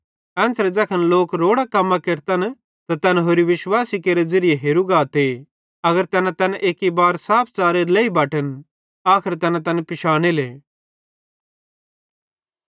एन्च़रे ज़ैखन लोक रोड़ां कम्मां केरतन त तैन होरि विश्वासी केरे ज़िरिये हेरू गाते अगर तैना तैन एक्की बारे साफ च़ारे लेई बटन आखर तैना तैन पिशानेले